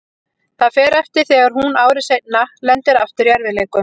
Það fer eftir þegar hún ári seinna lendir aftur í erfiðleikum.